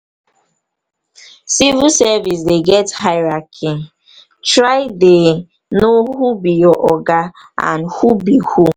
civil service dey get hierarchy try dey know who be your oga and who be who